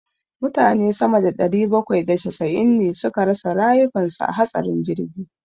Mutane sama da ɗari bakwai da casa'in ne suka rasa rayukan su a hatsarin jirgi.